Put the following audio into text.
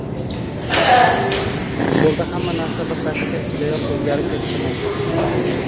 Futbolda hamma narsa bir daqiqa ichidayoq o‘zgarib ketishi mumkin.